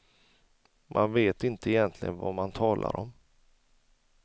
Man vet inte egentligen vad man talar om.